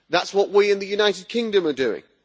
That is what we in the United Kingdom are doing.